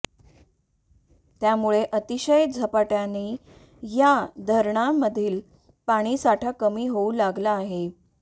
त्यामुळे अतिशय झपाट्याने या धरणांमधील पाणीसाठा कमी होऊ लागला आहे